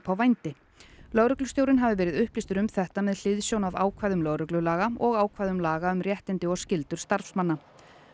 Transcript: á vændi lögreglustjórinn hafi verið upplýstur um þetta með hliðsjón af ákvæðum lögreglulaga og ákvæðum laga um réttindi og skyldur starfsmanna